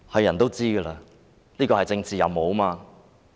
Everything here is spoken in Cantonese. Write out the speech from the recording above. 眾所周知，這是政治任務。